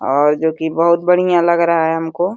और जो कि बहोत बढ़िया लग रहा है हमको।